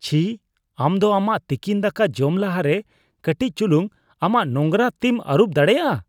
ᱪᱷᱤ ! ᱟᱢ ᱫᱚ ᱟᱢᱟᱜ ᱛᱤᱠᱤᱱ ᱫᱟᱠᱟ ᱡᱚᱢ ᱞᱟᱦᱟᱨᱮ ᱠᱟᱹᱴᱤᱡ ᱪᱩᱞᱩᱝ ᱟᱢᱟᱜ ᱱᱳᱝᱨᱟ ᱛᱤᱢ ᱟᱹᱨᱩᱵ ᱫᱟᱲᱮᱭᱟᱜᱼᱟ ᱾